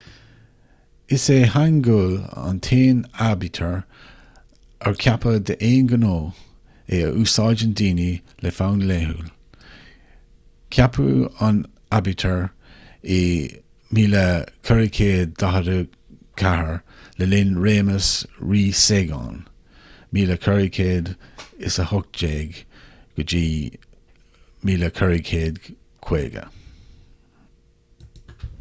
is é hangeul an t-aon aibítir ar ceapadh d'aon ghnó é a úsáideann daoine le fonn laethúil. ceapadh an aibítir i 1444 le linn réimeas rí sejong 1418 – 1450